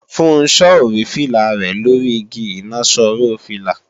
Funso ò rí fìlà rẹ̀ lóri igi ìnaṣọró fìlà